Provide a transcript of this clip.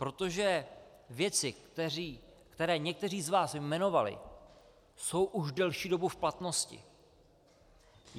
Protože věci, které někteří z vás jmenovali, jsou už delší dobu v platnosti.